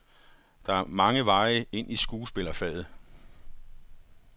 Der er mange veje ind i skuespillerfaget.